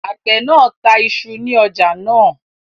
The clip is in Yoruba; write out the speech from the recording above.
Àgbẹ̀ náà ta isu ní ọjà náà